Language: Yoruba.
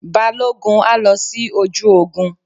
Balógun á lọ sí ojú ogun.